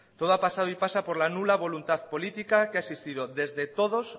todo ha pasado y pasa por la nula voluntad política que ha existido desde todos